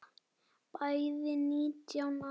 Bæði nítján ára.